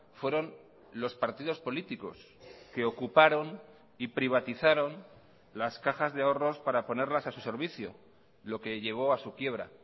fueron los partidos políticos que ocuparon y privatizaron las cajas de ahorros para ponerlas a su servicio lo que llevo a su quiebra